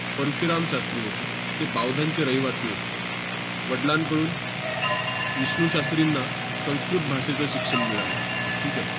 परशुराम शास्त्री होते. ते बावदानचे रहिवासी होते. वडलांकडून विष्णू शास्त्रींना संस्कृत भाषेचं शिक्षण मिळालं. ठीक आहे?